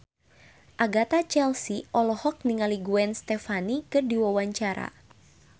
Agatha Chelsea olohok ningali Gwen Stefani keur diwawancara